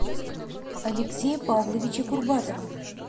алексея павловича курбатова